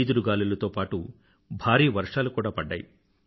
ఈదురుగాలులతో పాటూ భారీ వర్షాలు కూడా పడ్డాయి